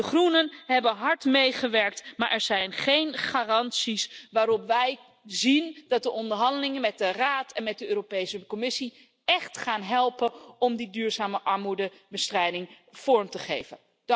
De Groenen hebben hard meegewerkt, maar er zijn geen garanties waarbij wij zien dat de onderhandelingen met de Raad en met de Europese Commissie echt gaan helpen om die duurzame armoedebestrijding vorm te geven.